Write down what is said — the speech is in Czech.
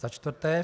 Za čtvrté.